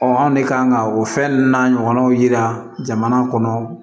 anw de kan ka o fɛn ninnu n'a ɲɔgɔnnaw yira jamana kɔnɔ